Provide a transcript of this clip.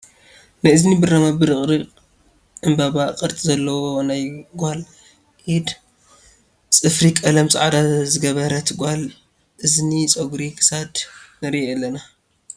ናይ እዝኒ ብራማ ብርቅሪቅ ዕምበባ ቅርፂ ዘለዎ ናይ ጋል ኢድ ፅፍሪ ቀለም ፃዕዳ ዝገበረት ጋል እዝኒ፣ ፀጉሪ ክሳድ ንርኢ ኣለና ።